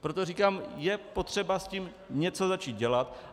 Proto říkám, je potřeba s tím něco začít dělat.